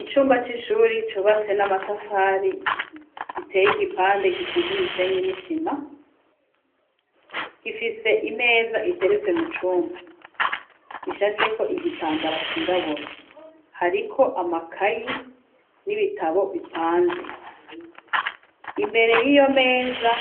Icumba c'ishure cubatse n'amatafari giteye igipande gisize umusenyi n'isima gifise imeza iteretse mu cumba ishashe ko igitambara cirabura hariko amakayi n'ibitabo bipanze imbere y'iyo meza